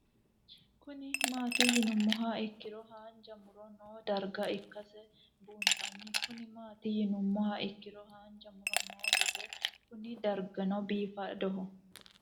Kuni mati yinumoha ikiro hanja muro noo darga ikasi bunxana Kuni mati yinumoha ikiro hanja muro noo gede Kuni dargino bifadoho